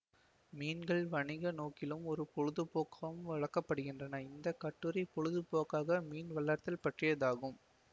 மீன்கள் வணிக நோக்கிலும் ஒரு பொழுது போக்காகவும் வழக்கப்படுகின்றன இந்த கட்டுரை பொழுது போக்க்காக மீன் வளர்த்தல் பற்றியதாகும்